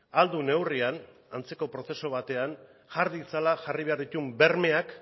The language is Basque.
ahal duen neurrian antzeko prozesu batean jar ditzala jarri beharreko bermeak